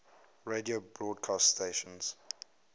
radio broadcast stations